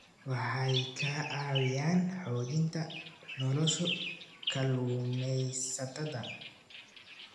Waxay ka caawiyaan xoojinta nolosha kalluumaysatada.